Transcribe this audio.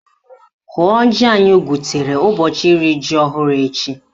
Hụọ ji anyị gwutere ụbọchị iri ji ọhụrụ echi!